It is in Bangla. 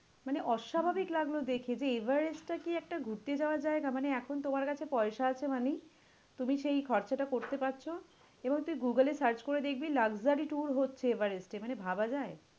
মানে অস্বাভাবিক লাগলো দেখে যে, এভারেস্টটা কি একটা ঘুরতে যাওয়ার জায়গা? মানে এখন তোমার কাছে পয়সা আছে মানেই তুমি সেই খরচাটা করতে পারছো এবং তুই গুগুলে search করে দেখবি luxury tour হচ্ছে এভারেস্টে, মানে ভাবা যায়?